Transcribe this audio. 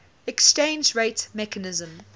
exchange rate mechanism